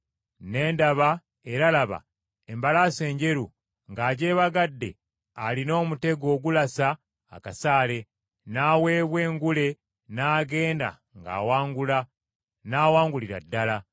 Ne ndaba, era laba, embalaasi enjeru, ng’agyebagadde alina omutego ogulasa akasaale; n’aweebwa engule n’agenda ng’awangula, n’awangulira ddala.